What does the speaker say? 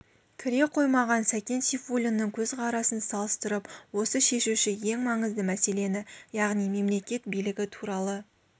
кіре қоймаған сәкен сейфуллиннің көзқарасын салыстырып осы шешуші ең маңызды мәселені яғни мемлекет билігі туралы